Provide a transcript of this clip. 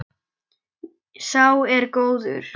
Sá er góður.